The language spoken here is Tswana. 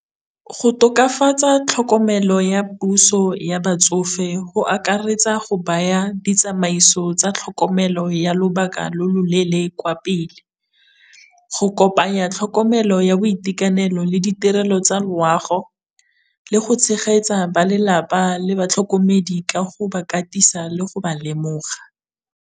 Go tokafatsa tlhokomelo ya puso ya batsofe go akaretsa go baya ditsamaiso tsa tlhokomelo ya lobaka lo loleele kwa pele. Go kopanya tlhokomelo ya boitekanelo le ditirelo tsa loago, le go tshegetsa ba lelapa le batlhokomedi ka go ba katisa le go ba lemoga.